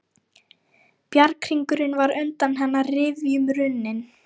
Bjarghringurinn var undan hennar rifjum runninn.